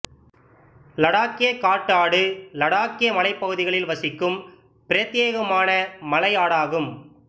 லடாக்கிய காட்டு ஆடு லடாக்கிய மலைப்பகுதிகளில் வசிக்கும் பிரத்யேகமான மலை ஆடாகும்